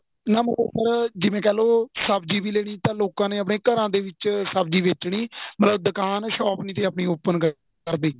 ਨਾ ਬਰਾਬਰ ਜਿਵੇਂ ਕਹਿਲੋ ਸਬਜੀ ਵੀ ਲੇਨੀ ਤਾਂ ਲੋਕਾ ਨੇ ਆਪਨੇ ਘਰਾਂ ਦੇ ਵਿੱਚ ਸਬਜੀ ਬੇਚਨੀ ਮਤਲਬ ਦੁਕਾਨ shop ਨਹੀਂ ਤੀ ਆਪਣੀ open ਕਰਨੀ